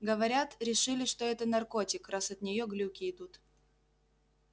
говорят решили что это наркотик раз от нее глюки идут